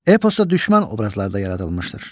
Eposda düşmən obrazlarda yaradılmışdır.